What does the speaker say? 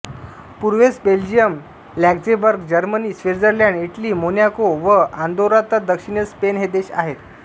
पूर्वेस Belgium Luxembourg Germany Switzerland Italy Monaco व Andorra तर दक्षिणेस स्पेन हे देश आहेत